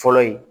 Fɔlɔ ye